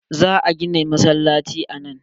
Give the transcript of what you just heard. Za a gina masallaci a nan.